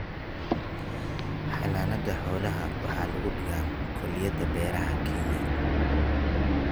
Xanaanada xoolaha waxaa lagu dhigaa kulliyadaha beeraha ee Kenya.